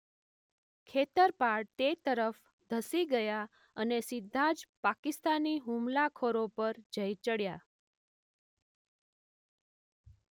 ખેતરપાળ તે તરફ ધસી ગયા અને સીધા જ પાકિસ્તાની હુમલાખોરો પર જઈ ચડ્યા.